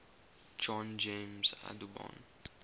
john james audubon